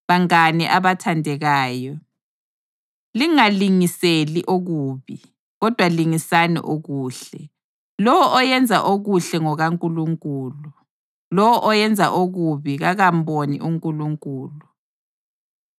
Bangane abathandekayo, lingalingiseli okubi, kodwa lingisani okuhle. Lowo oyenza okuhle ngokaNkulunkulu. Lowo oyenza okubi kakamboni uNkulunkulu.